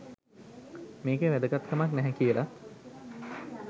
මේකේ වැදගත්කමක් නැහැ කියලත්